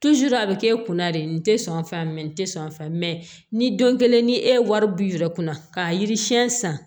a bɛ k'e kun na de n tɛ sɔn o fɛ mɛ nin tɛ sɔn a fɛ mɛ ni don kelen ni e wari b'i yɛrɛ kunna k'a yiri siɲɛ san